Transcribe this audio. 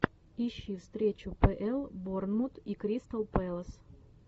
ищи встречу апл борнмут и кристал пэлас